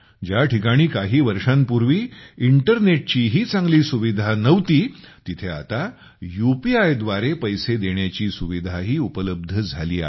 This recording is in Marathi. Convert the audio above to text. ज्या ठिकाणी काही वर्षांपूर्वी इंटरनेटचीही चांगली सुविधा नव्हती तिथे आता यूपीआय द्वारे पैसे भरण्याची सुविधाही उपलब्ध झाली आहे